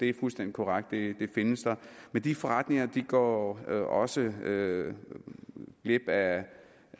er fuldstændig korrekt de findes der men de forretninger går også glip af